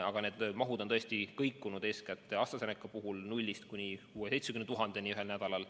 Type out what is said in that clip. Aga need mahud on tõesti kõikunud, eeskätt AstraZeneca puhul, kus arv on kõikunud nullist kuni 60 000 – 70 000 doosini ühel nädalal.